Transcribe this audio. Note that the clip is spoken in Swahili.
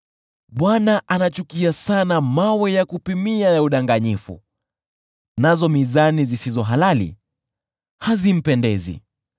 Bwana anachukia sana mawe ya kupimia ya udanganyifu, nazo mizani zisizo halali hazimpendezi.